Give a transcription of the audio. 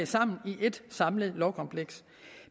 sammen i et samlet lovkompleks